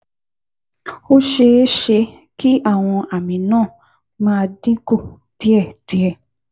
Ó ṣeé ṣe kí àwọn àmì náà máa dín kù díẹ̀díẹ̀